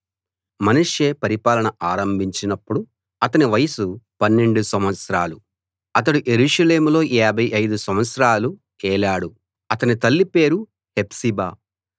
మనష్షే పరిపాలన ఆరంభించినప్పుడు అతని వయసు 12 సంవత్సరాలు అతడు యెరూషలేములో 55 సంవత్సరాలు ఏలాడు అతని తల్లిపేరు హెప్సిబా